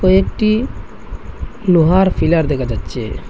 একটি লোহার পিলার দেখা যাচ্চে ।